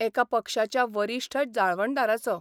एका पक्षाच्या वरिश्ठ जाळवणदाराचो.